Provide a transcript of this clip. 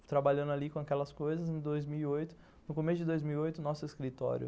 Eu trabalhando ali com aquelas coisas, em dois mil e oito, no começo de dois mil e oito, o nosso escritório